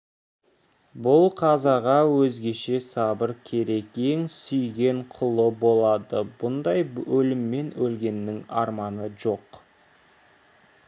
бұл қазаға өзгеше сабыр керек ең сүйген құлы болады бұндай өліммен өлгеннің арманы жоқ